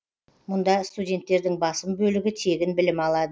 мұнда студенттердің басым бөлігі тегін білім алады